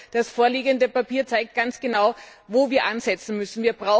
Das vorliegende Papier zeigt ganz genau, wo wir ansetzen müssen.